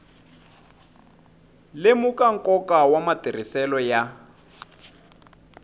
lemuka nkoka wa matirhiselo ya